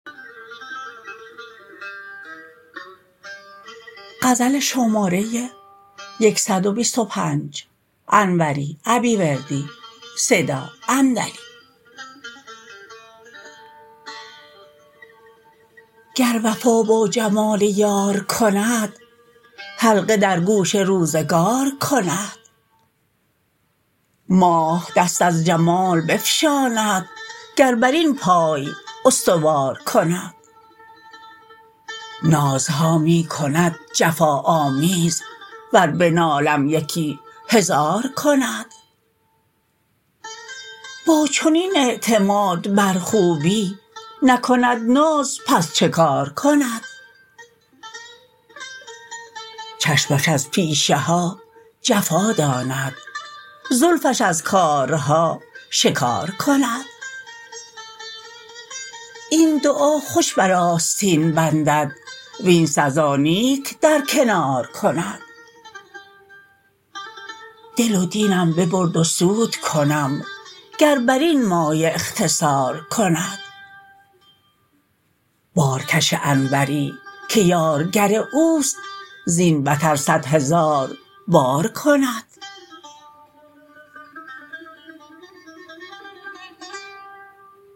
گر وفا با جمال یار کند حلقه در گوش روزگار کند ماه دست از جمال بفشاند گر بر این پای استوار کند نازها می کند جفا آمیز ور بنالم یکی هزار کند با چنین اعتماد بر خوبی نکند ناز پس چه کار کند چشمش از پیشه ها جفا داند زلفش از کارها شکار کند این دعا خوش بر آستین بندد وین سزا نیک در کنار کند دل و دینم ببرد و سود کنم گر بر این مایه اختصار کند بارکش انوری که یارگر اوست زین بتر صد هزار بار کند